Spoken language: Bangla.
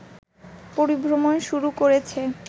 পরিভ্রমণ শুরু করেছে